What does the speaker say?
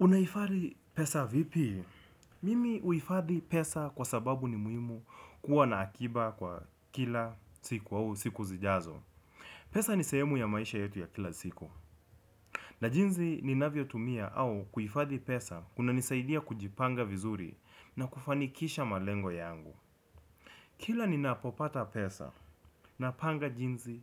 Unahifadhi pesa vipi? Mimi huhifadhi pesa kwa sababu ni muhimu kuwa na akiba kwa kila siku au siku zijazo. Pesa ni sehemu ya maisha yetu ya kila siku. Na jinsi ni navyotumia au kuhifadhi pesa kuna nisaidia kujipanga vizuri na kufanikisha malengo yangu. Kila ni napopata pesa na panga jinsi,